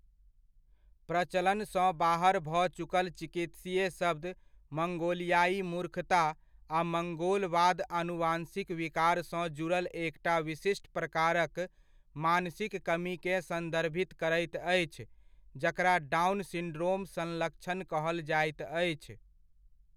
प्रचलनसँ बाहर भऽ चुकल चिकित्सीय शब्द मंगोलियाइ मूर्खता आ मंगोलवाद आनुवंशिक विकारसँ जुड़ल एकटा विशिष्ट प्रकारक मानसिक कमीकेँ संदर्भित करैत अछि जकरा डाउन सिंड्रोम संलक्षण कहल जाइत अछि।